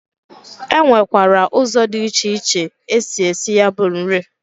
E nwekwara ụzọ dị iche iche esi esi ya bụ nri.